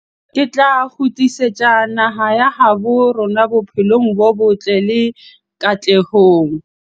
Re tla kgutlisetsa naha ya habo rona bophelong bo botle le katlehong.